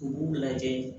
U b'u lajɛ